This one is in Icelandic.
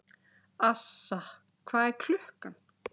Assa, hvað er klukkan?